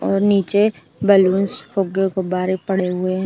और नीचे बलून्स फुग्गे गुब्बारे पड़े हुए --